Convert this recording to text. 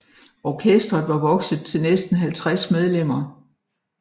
Orkestret var vokset til næsten 50 medlemmer